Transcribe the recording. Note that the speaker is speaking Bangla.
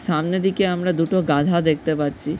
সামনে দিকে আমরা দুটো গাধা দেখতে পাচ্ছি।